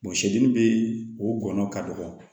sɛden bee o gɔnɔ ka dɔgɔ